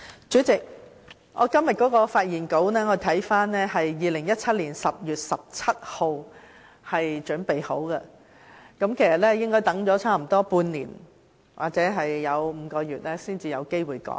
主席，我留意到今天的發言稿在2017年10月17日已經備妥，結果等了接近半年或5個月時間才有機會用到。